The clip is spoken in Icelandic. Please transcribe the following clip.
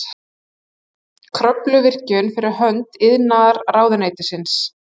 Kröfluvirkjun fyrir hönd iðnaðarráðuneytisins.